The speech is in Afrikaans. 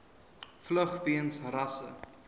vlug weens rasse